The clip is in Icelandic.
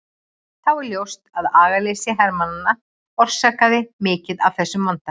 Þó er ljóst að agaleysi hermanna orsakaði mikið af þessum vanda.